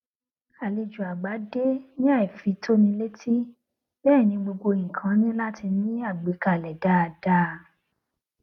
àlejò àgbà dé ní àìfitónilétí bẹẹ ni gbogbo nnkan ní láti ní àgbékalẹ dáadáa